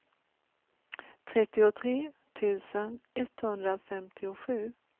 trettiotre tusen etthundrafemtiosju